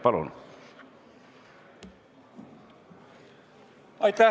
Palun!